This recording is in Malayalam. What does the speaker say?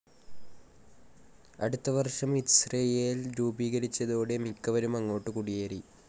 അടുത്ത വർഷം ഇസ്രയേൽ രൂപീകരിച്ചതോടെ മിക്കവരും അങ്ങോട്ട് കുടിയേറി.